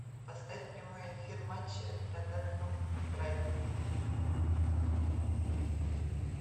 поставь прямой эфир матча тоттенхэм с брайтоном